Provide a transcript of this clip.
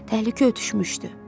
Təhlükə ötüşmüşdü.